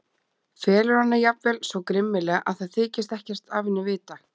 Felur hana jafnvel svo grimmilega að það þykist ekkert af henni vita.